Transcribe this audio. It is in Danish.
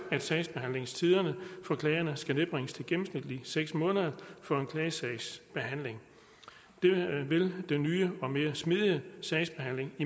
at sagsbehandlingstiderne skal nedbringes til gennemsnitlig seks måneder for en klagesagsbehandling det vil den nye og mere smidige sagsbehandling i